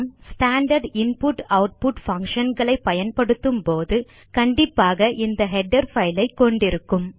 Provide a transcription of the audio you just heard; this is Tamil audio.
ஸ்டாண்டார்ட் inputஆட்புட் பங்ஷன் களை பயன்படுத்தும் போது கண்டிப்பாக இந்த ஹெடர் பைல் ஐ கொண்டிருக்கும்